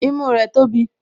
Imú rẹ̀ tóbi